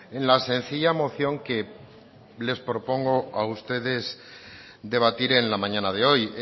en la sencilla moción que les propongo a ustedes debatir en la mañana de hoy